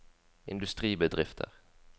industribedrifter